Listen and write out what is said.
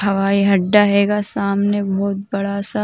हवाई अड्डा हैगा सामने बहुत बड़ा सा।